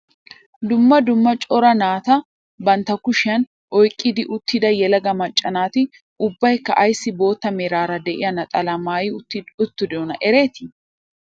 Dumma dumma cora naata bantta kushiyaan oyqqi uttida yelaga macca naati ubbaykka ayssi bootta meraara de'iyaa naxalaa maayi uttidonaa eretii?